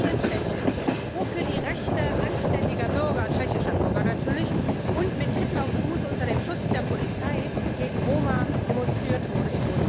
Wie in Tschechien, wo in Budweis für die Rechte anständiger Bürger tschechischer Bürger natürlich und mit Hitler Gruß unter dem Schutz der Polizei gegen Roma demonstriert wurde.